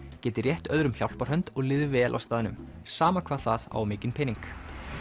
geti rétt öðrum hjálparhönd og líði vel á staðnum sama hvað það eigi mikinn pening